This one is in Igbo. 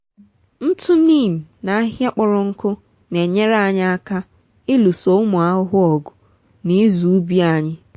ntụ neem na ahịhịa kpọrọ nkụ n'enyere anyị aka ịlụso ụmụ ahụhụ ọgụ na ịzụ ubi anyị.